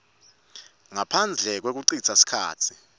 ngaphandle kwekucitsa sikhatsi